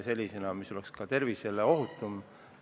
See oleks ka tervisele ohutum.